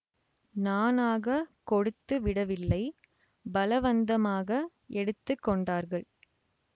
நானாகக் கொடுத்து விடவில்லை பலவந்தமாக எடுத்து கொண்டார்கள்